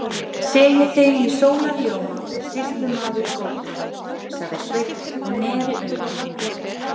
Sé ég þig í sólarljóma, sýslumaður góður, sagði Sveinn og neri augun.